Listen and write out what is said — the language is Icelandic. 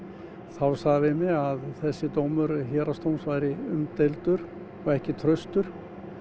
þá sagði hann við mig að þessi dómur héraðsdóms væri umdeildur og ekki traustur